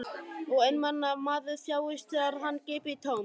Og einmana maður þjáist þegar hann grípur í tómt.